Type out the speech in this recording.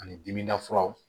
Ani dimida furaw